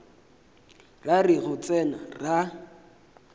ra re go tsena ra